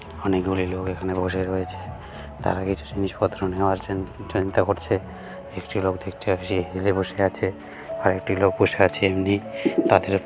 অনেকগুলি লোক এখানে বসে রয়েছে তারা কিছু জিনিস পত্র নেওয়ার চি চিন্তা করছে । একটি লোক দেখতে পারছি হিলে বসে আছে । আরেকটি লোক বসে আছে আসে এমনি। তাদের--